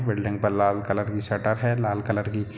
building पे लाल colour का शटर है लाल कलर की --